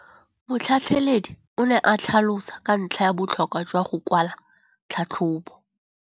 Motlhatlheledi o ne a tlhalosa ka ntlha ya botlhokwa jwa go kwala tlhatlhôbô.